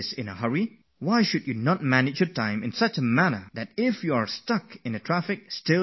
Why can't you manage your time in such a way that even if you are held up in traffic, you can still reach in time for your exam